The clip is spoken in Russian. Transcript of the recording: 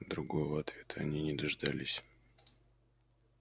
другого ответа они не дождались